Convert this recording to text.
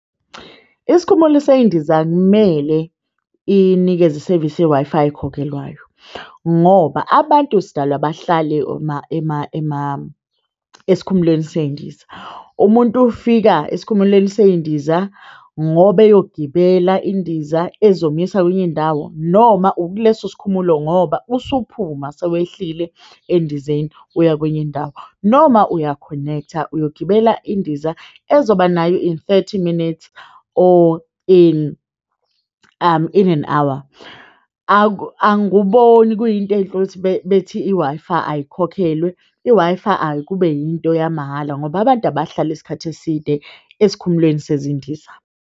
Isikhumulo sezindiza kumele inikeze isevisi ye-Wi-Fi ekhokhelwayo ngoba abantu sidalwa bahlale ema esikhumulweni sezindiza. Umuntu ufika esikhumulweni sey'ndiza ngoba eyogibela indiza ezomuyisa kwenye indawo noma ukuleso sikhumulo ngoba usuphuma, sewehlile endizeni uya kwenye indawo noma uyakhonektha, uyogibela indiza ezoba nayo in thirty minutes or in in an hour. Anguboni kuyinto enhle ukuthi bethi i-Wi-Fi ayikhokhelwe i-Wi-Fi akube yinto yamahhala ngoba abantu abahlali isikhathi eside esikhumulweni sezindiza.